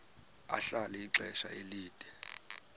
ahlala ixesha elide